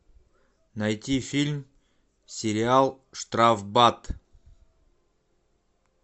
найти фильм сериал штрафбат